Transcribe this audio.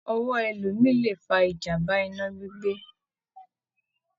Ọwọ olómi lè fa ìjàmbá iná gbígbé.